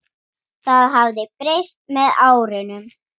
Það hafi breyst með árunum.